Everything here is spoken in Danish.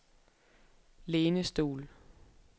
lænestol